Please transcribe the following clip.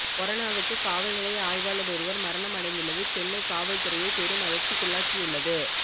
கொரோனாவுக்கு காவல் நிலைய ஆய்வாளர் ஒருவர் மரணம் அடைந்துள்ளது சென்னை காவல் துறையை பெரும் அதிர்ச்சிக்குள்ளாக்கியுள்ளது